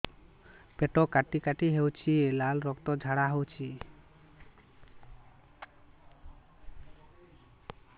ପେଟ କାଟି କାଟି ହେଉଛି ଲାଳ ରକ୍ତ ଝାଡା ହେଉଛି